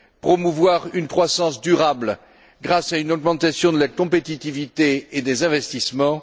promouvoir une croissance durable grâce à une augmentation de la compétitivité et des investissements